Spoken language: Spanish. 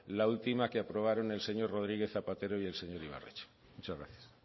la última que aprobaron el señor rodríguez zapatero y el señor ibarretxe muchas gracias